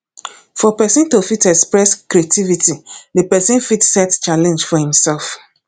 for perosn to fit express creativity di person fit set challenge for im self